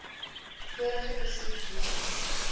vorige besoek weens